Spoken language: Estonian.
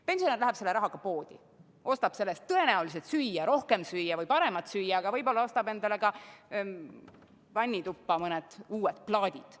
Pensionär läheb selle rahaga poodi, ostab selle eest tõenäoliselt süüa, rohkem või paremat süüa, aga võib-olla ostab ka endale vannituppa mõned uued plaadid.